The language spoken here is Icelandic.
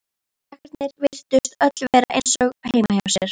Krakkarnir virtust öll vera eins og heima hjá sér.